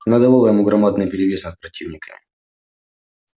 она давала ему громадный перевес над противниками